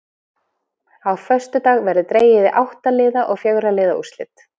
Á föstudag verður dregið í átta liða og fjögurra liða úrslit.